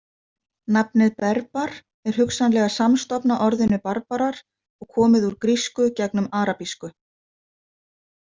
Nafnið „berbar“ er hugsanlega samstofna orðinu „barbarar“ og komið úr grísku gegnum arabísku.